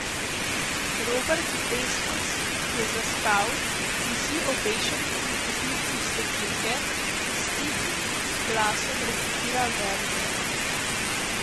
Robert Desnos, ki je zaspal, visi obešen kot netopir s svetilke, in s tihim glasom recitira verze.